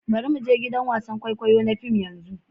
Bari mu je gidan wasan kwaikwayo na fim yanzu.